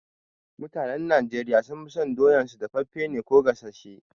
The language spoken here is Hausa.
Mutanen Najeriya sun fi son doyan su daffafe ko gasashe